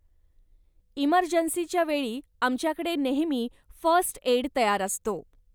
इमर्जन्सीच्या वेळी आमच्याकडे नेहमी फर्स्ट एड तयार असतो.